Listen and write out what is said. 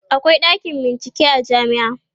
akwai ɗakin bincike a jamia